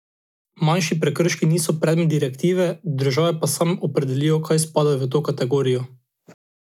Manjši prekrški niso predmet direktive, države pa same opredelijo, kaj spada v to kategorijo.